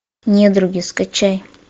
недруги скачай